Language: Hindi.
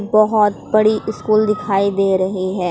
बहोत बड़ी स्कूल दिखाई दे रही है।